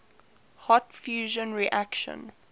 hot fusion reactions